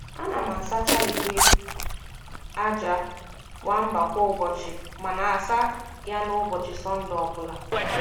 A na m asacha igbe aja nwamba kwa ụbọchị, ma na-asa ya n’ụbọchị Sọnde obula.